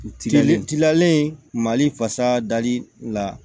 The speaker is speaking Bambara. Tilalen tilalen mali fasa dali la